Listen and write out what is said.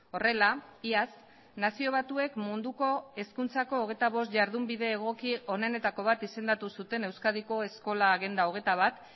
horrela iaz nazio batuek munduko hezkuntzako hogeita bost jardunbide egoki onenetako bat izendatu zuten euskadiko eskola agenda hogeita bat